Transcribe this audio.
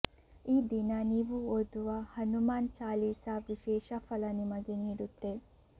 ಈ ದಿನ ನೀವು ಓದುವ ಹನುಮಾನ್ ಚಾಲೀಸ ವಿಶೇಷ ಫಲ ನಿಮಗೆ ನೀಡುತ್ತೆ